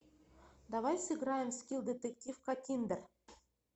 давай сыграем в скилл детектив каттиндер